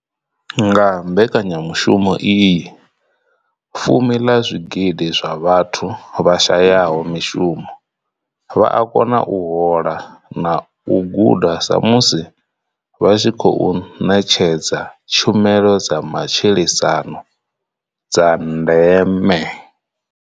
Nga mbekanyamushumo iyi, fumi ḽa zwigidi zwa vhathu vha shayaho mushumo vha a kona u hola na u guda sa musi vha tshi khou ṋetshedza tshumelo dza matshilisano dza ndeme.